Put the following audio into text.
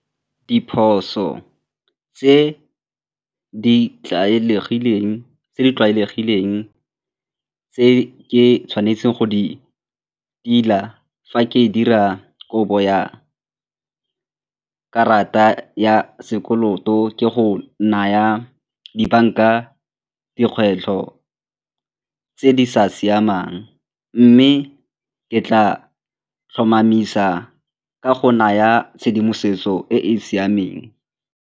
Diphoso tse di tlwaelegileng tse ke tshwanetseng go di tila fa ke dira kopo ya karata ya sekoloto ke go naya dibanka dikgwetlho tse di sa siamang mme ke tla tlhomamisa ka go naya tshedimosetso e e siameng.